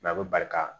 a bɛ barika